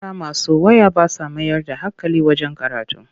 Yara masu waya ba sa mayar da hankali wajen karatu.